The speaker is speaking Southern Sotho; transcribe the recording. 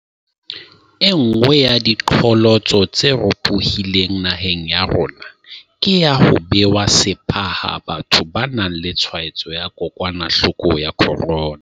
Enngwe ya diqholotso tse ropohileng naheng ya rona ke ya ho bewa sepha ha batho ba nang le tshwaetso ya kokwanahloko ya corona.